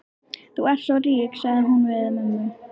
Þú ert svo rík, sagði hún við mömmu.